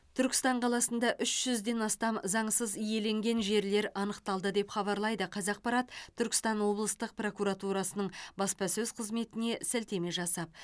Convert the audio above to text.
түркістан қаласында үш жүзден астам заңсыз иеленген жерлер анықталды деп хабарлайды қазақпарат түркістан облыстық прокуратурасының баспасөз қызметіне сілтеме жасап